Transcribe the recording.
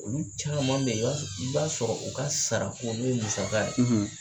Olu caman bɛ ye i b'a i b'a sɔrɔ u ka sarako n'u ye musaka ye.